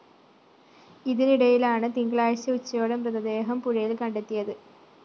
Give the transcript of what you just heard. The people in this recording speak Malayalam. ഇതിനിടയിലാണ് തിങ്കളാഴ്ച ഉച്ചയോടെ മൃതദേഹം പുഴയില്‍ കണ്ടെത്തിയത്